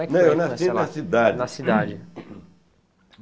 como que é nascer lá? Não não Eu nasci na cidade. na cidade